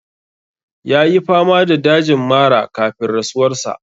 Ya yi fama da dajin mara kafin rasuwar sa.